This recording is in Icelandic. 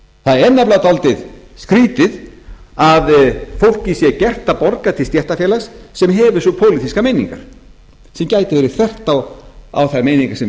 það er nefnilega dálítið skrýtið að fólki sé gert að borga til stéttarfélags sem hefur svo pólitískar meiningar sem gætu verið þvert á þær meiningar sem